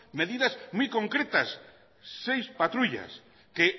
medidas muy concretas seis patrullas que